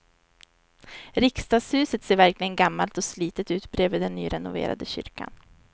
Riksdagshuset ser verkligen gammalt och slitet ut bredvid den nyrenoverade kyrkan.